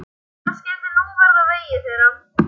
Hvað skyldi nú verða á vegi þeirra?